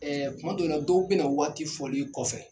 Ɛɛ tuma dɔw la, dɔw bɛ na waati folen kɔfɛ !